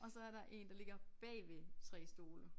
Og så er der 1 der ligger bagved 3 stole